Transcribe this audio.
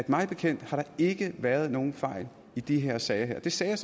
mig bekendt ikke været nogen fejl i de her sager og det sagde jeg